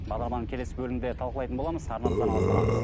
бағдарламаның келесі бөлімінде талқылайтын боламыз арнамыздан алыстамаңыз